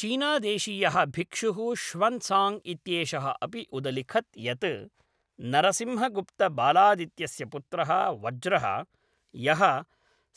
चीनादेशीयः भिक्षुः ष्वन्साङ्ग् इत्येषः अपि उदलिखत् यत् नरसिंहगुप्तबालादित्यस्य पुत्रः वज्रः, यः